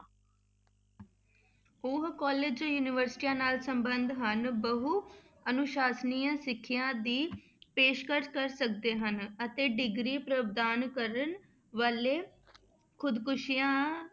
ਉਹ college ਜੋ ਯੂਨੀਵਰਸਟੀਆਂ ਨਾਲ ਸੰਬੰਧ ਹਨ, ਬਹੁ ਅਨੁਸਾਸਨੀ ਸਿੱਖਿਆ ਦੀ ਪੇਸ਼ਕਸ ਕਰ ਸਕਦੇ ਹਨ, ਅਤੇ degree ਪ੍ਰਦਾਨ ਕਰਨ ਵਾਲੇ ਖੁੱਦ ਖ਼ੁਸ਼ੀਆਂ